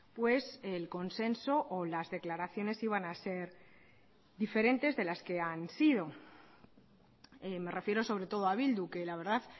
pues el consenso o las declaraciones iban a ser diferentes de las que han sido me refiero sobre todo a bildu que la verdad